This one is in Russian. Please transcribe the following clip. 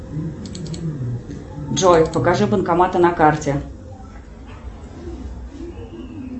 джой покажи банкоматы на карте